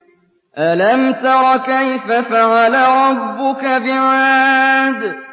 أَلَمْ تَرَ كَيْفَ فَعَلَ رَبُّكَ بِعَادٍ